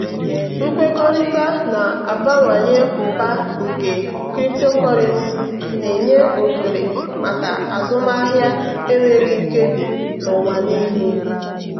nkwekọrịta na-abawanye ụba nke cryptocurrency na-enye ohere maka azụmahịa enweghị nkebi n'ụwa niile.